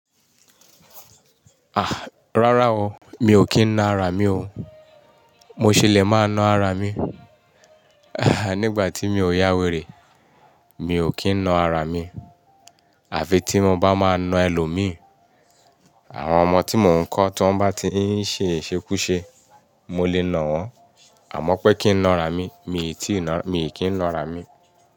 Ah! Rárá o, mi ò kí ń na ara mi o. Mo ṣelẹ̀ máa na ara mi, nígbà tí mi ò yá wèrè. Mi ò kí ń na ara mi. Àfi tí mo bá máa na ẹlòmíì. Àwọn ọmọ tí mò ń kọ́ tí wọ́n bá ti ń ṣe ìṣekúṣe, mo lè na wọ́n. Àmọ́ pé kí n na ara mi, mi ò tí ì na, mi ò kí ń na ara mi.